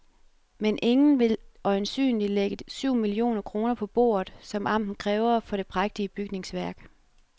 Men ingen vil øjensynligt lægge de syv millioner kroner på bordet, som amtet kræver for det prægtige bygningsværk.